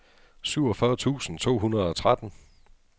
syvogfyrre tusind to hundrede og tretten